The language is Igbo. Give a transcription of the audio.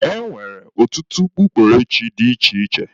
E nwere ọtụtụ ọ kpukperechi dị iche iche.